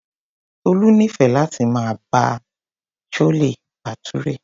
Tolu nífẹẹ láti máa jẹ chole bhature.